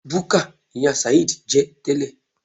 Búkà ni ìyá sàheed jẹ́ tẹ́lẹ̀.